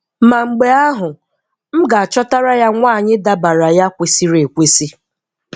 Ma mgbe ahụ, m ga-achọtara ya nwaanyị dabaara ya kwesịrị ekwesị